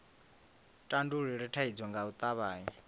tandulule thaidzo nga u tavhanya